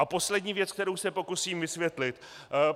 A poslední věc, kterou se pokusím vysvětlit.